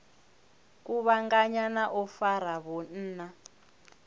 kuvhanganya na u fara vhunna